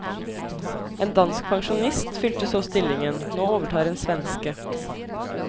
En dansk pensjonist fylte så stillingen, nå overtar en svenske.